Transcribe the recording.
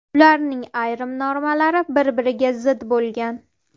Ularning ayrim normalari bir-biriga zid bo‘lgan.